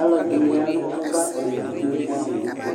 Alʋ ɛdɩnɩ ya nʋ ava owu fue bʋɛ amʋ dɩ ɛtʋ,